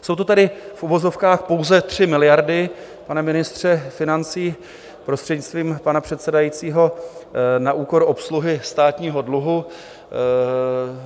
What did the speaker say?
Jsou to tedy v uvozovkách pouze 3 miliardy, pane ministře financí, prostřednictvím pana předsedajícího, na úkor obsluhy státního dluhu.